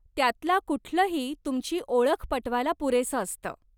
त्यातला कुठलही तुमची ओळख पटवायला पुरेसं असतं.